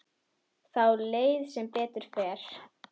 Þá leið þeim betur